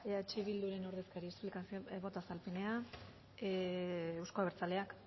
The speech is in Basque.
eh bilduren ordezkaria boto azalpenea euzko abertzaleak